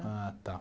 Ah, tá.